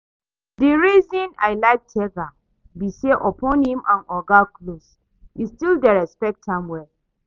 The reason I like Tega be say upon im and oga close, e still dey respect am well